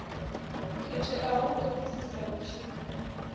khetheaho u ṱo ḓisisa vhutshinyi